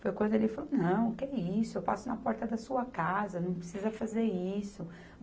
Foi quando ele falou, não, que isso, eu passo na porta da sua casa, não precisa fazer isso.